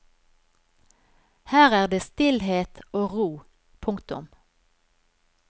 Her er det stillhet og ro. punktum